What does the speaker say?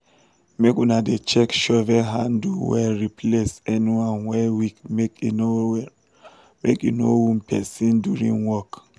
make una dey check shovel handle wellreplace anyone wey weakmake e no wound person during work